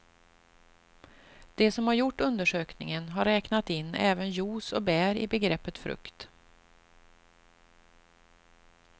De som gjort undersökningen har räknat in även juice och bär i begreppet frukt.